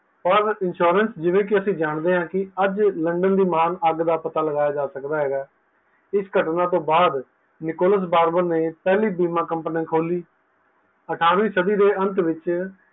ਪਰ insurance ਜਿਵੇ ਕੀ ਅੱਜ ਲੰਦਨ ਦੀ ਮੰਗ ਅਘ ਦਾ ਪਤਾ ਲਾਗਆ ਜਾ ਸਕਦਾ ਹੈ ਇਸ ਤੋਹ ਬਾਅਦ ਨਿਕੋਲਸ ਬਾਰਬਰ ਨੀ ਪਹਿਲੀ company ਖੋਲੀ, ਅਠਾਰਵੀਂ ਸਦੀ ਦੇ ਅੰਤ ਵਿੱਚ